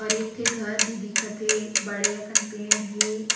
और एक ठी घर भी दिखा थे बड़े अकन पेड़ हे।